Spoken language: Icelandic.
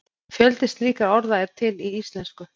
Fjöldi slíkra orða er til í íslensku.